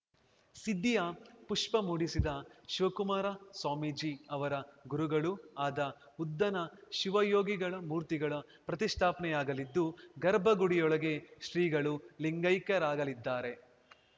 ಸಿದ್ಧಿಯ ಪುಷ್ಪ ಮೂಡಿಸಿದ ಶಿವಕುಮಾರ ಸ್ವಾಮೀಜಿ ಅವರ ಗುರುಗಳೂ ಆದ ಉದ್ಧನ ಶಿವಯೋಗಿಗಳ ಮೂರ್ತಿಗಳ ಪ್ರತಿಷ್ಠಾಪನೆಯಾಗಲಿದ್ದು ಗರ್ಭಗುಡಿಯೊಳಗೆ ಶ್ರೀಗಳು ಲಿಂಗೈಕ್ಯರಾಗಲಿದ್ದಾರೆ